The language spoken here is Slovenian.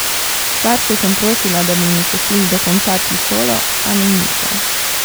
Starše sem prosila, da bi mi pustili dokončati šolo, a mi niso.